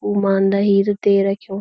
उमान्दा हीर ते रख्युं।